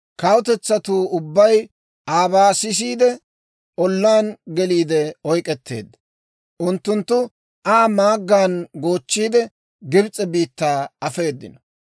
Kawutetsatuu ubbay aabaa sisiide, ollaan geliide oyk'k'eteedda. Unttunttu Aa maaggan goochchiide, Gibs'e biittaa afeeddino.